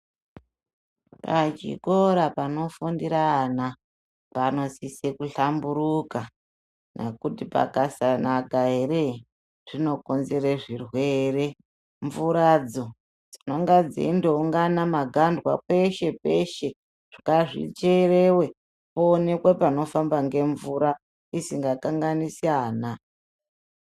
Pachikora panofundira ana panosise kuhlamburuka nekuti pakasanaka ere zvinokonzere zvirwere. Mvuradzo dzinonga dzeindoungana magandwa peshe-peshe, ngazvichereve paonekwe panofamba nemvura isinga kanganisi ana.